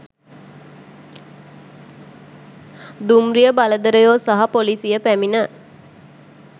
දුම්රිය බලධරයෝ සහ පොලිසිය පැමිණ